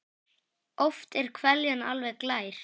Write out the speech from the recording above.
Oft er hveljan alveg glær.